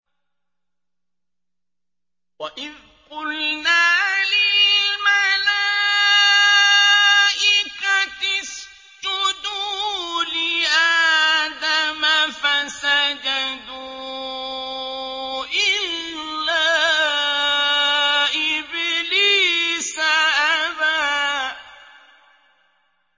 وَإِذْ قُلْنَا لِلْمَلَائِكَةِ اسْجُدُوا لِآدَمَ فَسَجَدُوا إِلَّا إِبْلِيسَ أَبَىٰ